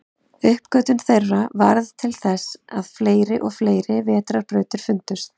Uppgötvun þeirra varð til þess að fleiri og fleiri vetrarbrautir fundust.